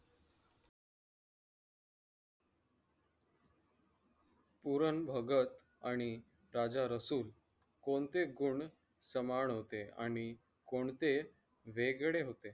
पुरण भगत आणि राजा रसूल कोणते गुण सामान होते आणि कोणते वेगळे होते.